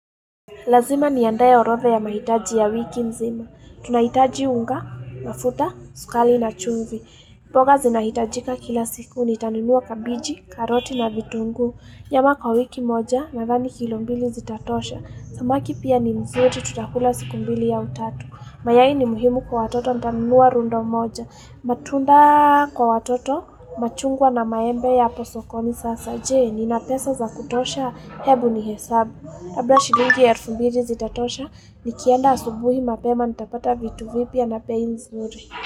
Lazima ni andae orotha ya mahitaji ya wiki nzima. Tunahitaji unga, mafuta, sukari na chumvi. Mboga zinahitajika kila siku ni tanunua kabiji, karoti na vitungu. Nyama kwa wiki moja, nadhani kilombili zitatosha. Samaki pia ni mzuri tutakula siku mbili au tatu. Mayai ni muhimu kwa watoto ntanunua rundo moja. Matunda kwa watoto, machungwa na maembe yapo sokoni sasa jee. Nina pesa za kutosha, hebu ni hesabu. Labda shilingi elfu mbili zitatosha ni kienda asubuhi mapema nitapata vitu vipya na bei nzuri.